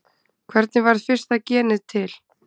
Hvernig varð fyrsta genið til?